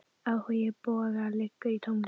Áhugi Boga liggur í tónlist.